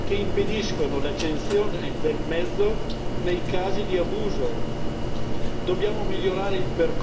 Esistono in Europa brevetti di sistemi che impediscono l'accensione del mezzo nei casi di abuso.